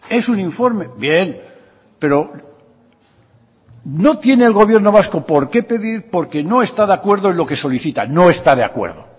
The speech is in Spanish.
es un informe bien pero no tiene el gobierno vasco porqué pedir porque no está de acuerdo en lo que solicitan no está de acuerdo